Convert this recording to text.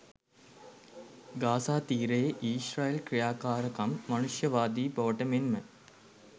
Gaza තීරයේ ඊශ්‍රායල් ක්‍රියාකාරකම් මානුෂවාදී බවට මෙන්ම